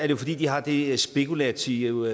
jo fordi de har det spekulative